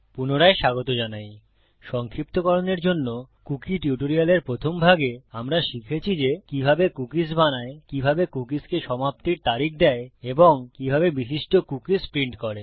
পুনরায় স্বাগত জানাইসংক্ষিপ্তকরনের জন্য কুকী টিউটোরিয়ালের প্রথম ভাগে আমরা শিখেছি যে কিভাবে কুকীস বানায় কিভাবে কুকীসকে সমাপ্তির তারিখ দেয় এবং কিভাবে বিশিষ্ট কুকীস প্রিন্ট করে